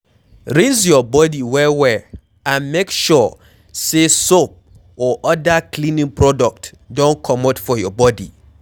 rinse your body well well and make sure sey soap or oda cleaning product don comot for your body